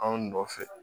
Anw nɔfɛ